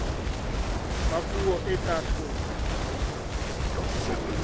ba puo e tla hloka